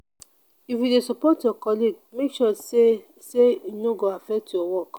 if you dey support your colleague make sure sey sey e no go affect your work.